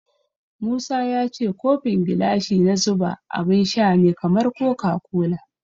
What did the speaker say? Musa ya ce kofin gilashi na zuba abun sha ne kamar koka kola.